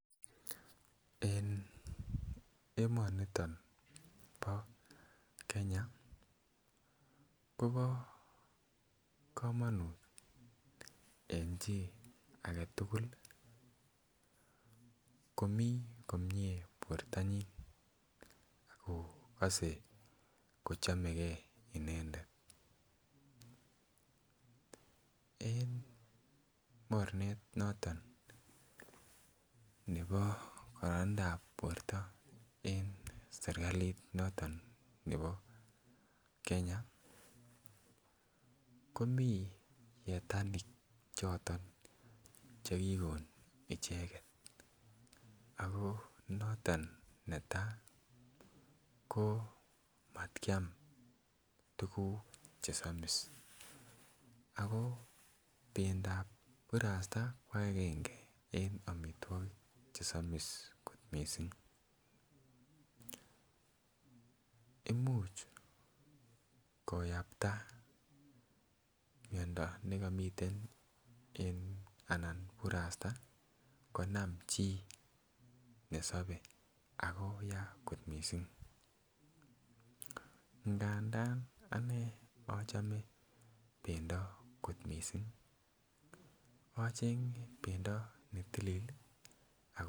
En emoniton bo Kenya Kobo komonut en chi agetugul komii komie bortonyin ak kogose ko chomegee inendet. En mornet noton nebo kororonindap borto en serkalit noton nebo Kenya komii yetanik choton che kigon icheget ako noton netaa ko mat kiam tuguk che somis ako bendap burasta ko angenge en omitwokik che somis kot missing imuch koyapta miondo ne komiten en burasta konam chi nesobee ako Yaa kot missing. Ngadan anee ochome bendo kot missing ko ochenge bendo ne tilil ii ako